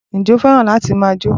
Ǹjẹ́ o fẹ́ràn láti máa jó?